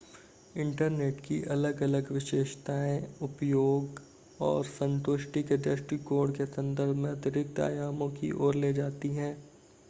internet की अलग-अलग विशेषताएं उपयोग और संतुष्टि के दृष्टिकोण के संदर्भ में अतिरिक्त आयामों की ओर ले जाती हैं